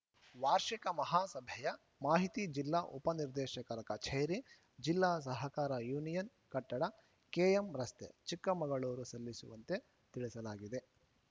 ವಾರ್ಷಿಕ ಮಹಾಸಭೆಯ ಮಾಹಿತಿ ಜಿಲ್ಲಾ ಉಪನಿರ್ದೇಶಕರ ಕಛೇರಿ ಜಿಲ್ಲಾ ಸಹಕಾರ ಯೂನಿಯನ್‌ ಕಟ್ಟಡ ಕೆಎಂರಸ್ತೆ ಚಿಕ್ಕಮಗಳೂರು ಸಲ್ಲಿಸುವಂತೆ ತಿಳಿಸಲಾಗಿದೆ